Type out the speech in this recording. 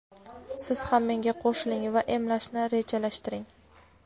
siz ham menga qo‘shiling va emlashni rejalashtiring.